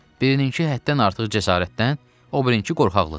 Birininkı həddən artıq cəsarətdən, o birininkı qorxaqlıqdan.